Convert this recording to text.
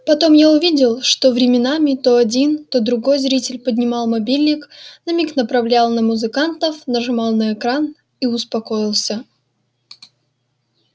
потом я увидел что временами то один то другой зритель поднимал мобильник на миг направлял на музыкантов нажимал на экран и успокоился